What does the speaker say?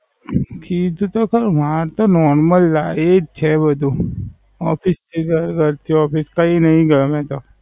કીધું તો ખરું માર તો Normal લાઈ. એ જ છે અધૂ Office થી ઘર ઘરથી Office કઈ નઈ ગયો મેં તો.